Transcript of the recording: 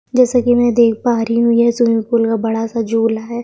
जैसा की मैं देख पा रही हूँ ये स्विंमिंग पूल का बड़ा सा झूला है।